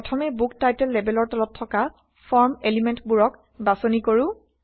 প্ৰথমে book title লেবেলৰ তলত থকা ফৰ্ম এলিমেন্টবোৰক বাছনি কৰো